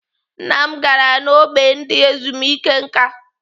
Nna m gara n'ógbè ndị ezumike nká.